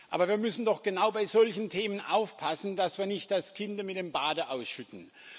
Aber wir müssen doch genau bei solchen Themen aufpassen, dass wir nicht das Kind mit dem Bade ausschütten.